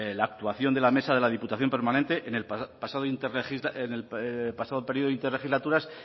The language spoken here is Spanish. la actuación de la mesa de la diputación permanente en el pasado periodo de interlegislaturas